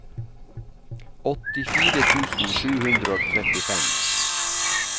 åttifire tusen sju hundre og trettifem